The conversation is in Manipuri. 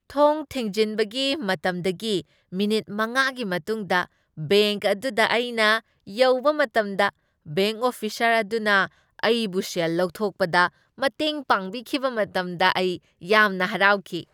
ꯊꯣꯡ ꯊꯤꯡꯖꯤꯟꯕꯒꯤ ꯃꯇꯝꯗꯒꯤ ꯃꯤꯅꯤꯠ ꯃꯉꯥꯒꯤ ꯃꯇꯨꯡꯗ ꯕꯦꯡꯛ ꯑꯗꯨꯗ ꯑꯩꯅ ꯌꯧꯕ ꯃꯇꯝꯗ ꯕꯦꯡꯛ ꯑꯣꯐꯤꯁꯔ ꯑꯗꯨꯅ ꯑꯩꯕꯨ ꯁꯦꯜ ꯂꯧꯊꯣꯛꯄꯗ ꯃꯇꯦꯡ ꯄꯥꯡꯕꯤꯈꯤꯕ ꯃꯇꯝꯗ ꯑꯩ ꯌꯥꯝꯅ ꯍꯔꯥꯎꯈꯤ꯫